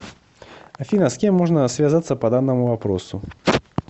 афина с кем можно связаться по данному вопросу